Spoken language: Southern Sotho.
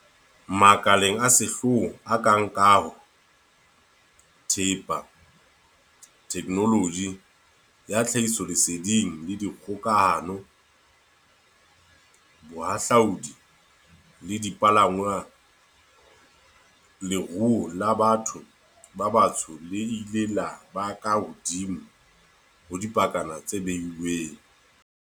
Makaleng a sehlooho a kang a kaho, thepa, theknoloji ya tlhahisoleseding le dikgokahano, bohahlaodi le dipalangwang, leruo la batho ba batsho le ile la ba ka hodimo ho dipakana tse behilweng.